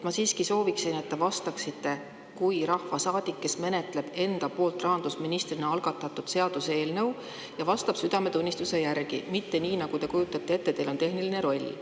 Ma siiski sooviksin, et te vastaksite kui rahvasaadik, kes menetleb enda poolt rahandusministrina algatatud seaduseelnõu ja vastab südametunnistuse järgi, mitte nii, et te kujutate ette, et teil on tehniline roll.